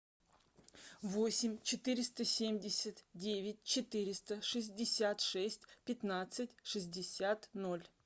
восемь четыреста семьдесят девять четыреста шестьдесят шесть пятнадцать шестьдесят ноль